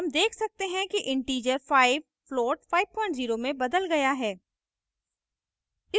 हम देख सकते हैं कि integer 5 float 50 में बदल गया है